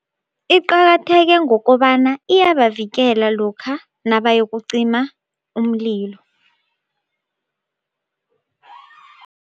Iqakatheke ngokobana iyabavikela lokha nabayokucima umlilo.